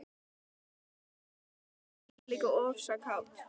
Ég fékk svolítinn hjartslátt, en varð líka ofsa kát.